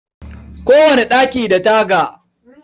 Kowane ɗaki da taga.